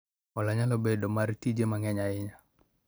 hola nyalo bedo mar tije mang'eny ahinya